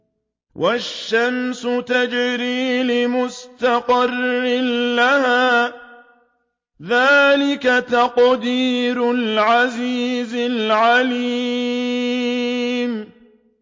وَالشَّمْسُ تَجْرِي لِمُسْتَقَرٍّ لَّهَا ۚ ذَٰلِكَ تَقْدِيرُ الْعَزِيزِ الْعَلِيمِ